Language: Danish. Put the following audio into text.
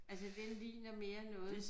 Altså den ligner mere noget